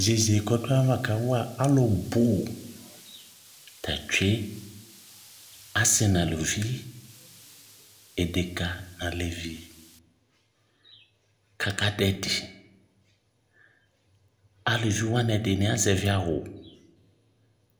Iyeye kʋ ɔdʋ ayava kawa alʋ bʋ ta tsue, asɩ n'aluvi, edeka n'alevi kʋ aka dʋ ɛdɩ Alʋvi wanɩ ɛdɩ azɛvɩ awʋ